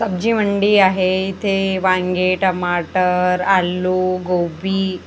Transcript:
सब्जी मंडी आहे इथे वांगी टमाटर आलू गोबी--